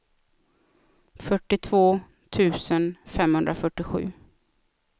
fyrtiotvå tusen femhundrafyrtiosju